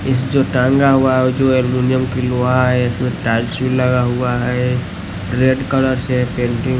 इस जो टांगा हुआ है और जो अलुमिनियम की लोहा है इसमे टाईल्स भी लगा हुआ है रेड कलर से पेंटिंग --